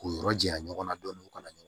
K'u yɔrɔ janya ɲɔgɔnna dɔɔnin u kana ɲɔgɔn